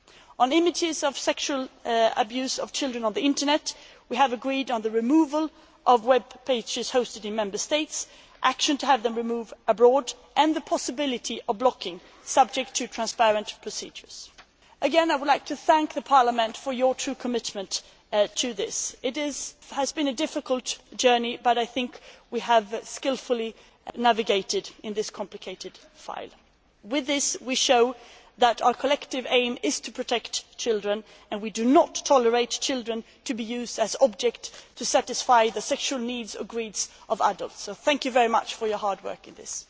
training, etc. to detect child sexual abuse. On images of sexual abuse of children on the Internet, we have agreement on the removal of web pages hosted in Member States, intended action to have them removed abroad and the possibility of blocking, subject to transparent procedures. Again, I would like to thank the Parliament for your true commitment to this. It has been a difficult journey but I think we have skilfully navigated in this complicated file. With this we show that our collective aim is to protect children and we do not tolerate children being used as objects to satisfy the sexual needs or greed of adults. Thank you very much for your hard work in this.